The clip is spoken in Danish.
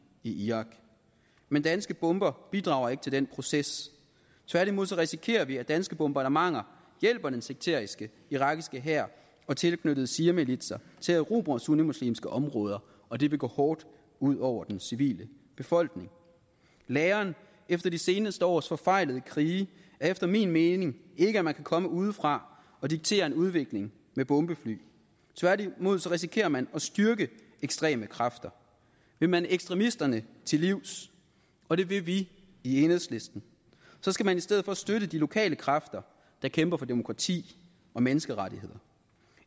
i irak men danske bomber bidrager ikke til den proces tværtimod risikerer vi at danske bombardementer hjælper den sekteriske irakiske hær og tilknyttede shiamilitser til at erobre sunnimuslimske område og det vil går hårdt ud over den civile befolkning læren efter de seneste års forfejlede krige er efter min mening ikke at man kan komme udefra og diktere en udvikling med bombefly tværtimod risikerer man at styrke ekstreme kræfter vil man ekstremisterne til livs og det vil vi i enhedslisten skal man i stedet for støtte de lokale kræfter der kæmper for demokrati og menneskerettigheder